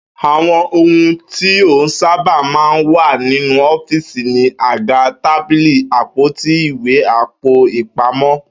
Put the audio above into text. Àwo̩n ohun tí ó sábà máa ń wà nínú ó̩fíìsì ni àga, tábìlì, àpótí ìwé, àpò-ìpamó̩